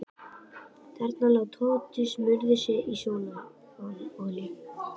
Þarna lá Tóti og smurði á sig sólarolíu.